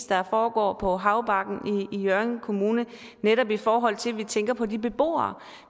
der foregår på havbakken i hjørring kommune netop i forhold til at vi tænker på de beboere